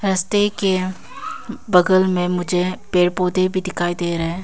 रस्ते के बगल में मुझे पेड़ पौधे भी दिखाई दे रहे है।